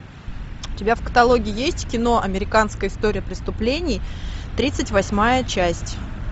у тебя в каталоге есть кино американская история преступлений тридцать восьмая часть